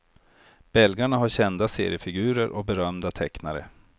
Belgarna har kända seriefigurer och berömda tecknare.